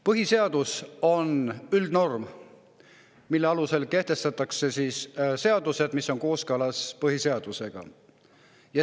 Põhiseadus on üldnorm, mille alusel kehtestatakse seadused, mis on kooskõlas põhiseadusega.